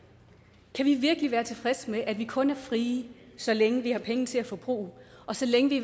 kan vi virkelig være tilfredse med at vi kun er frie så længe vi har penge til at forbruge og så længe vi